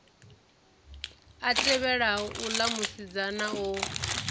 a tevhelaho uḽa musidzana o